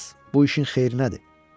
Hans, bu işin xeyrinədir.